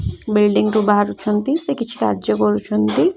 Building ରୁ ବାହାରୁଛନ୍ତି ସେ କିଛି କାର୍ଯ୍ୟ କରୁଛନ୍ତି ।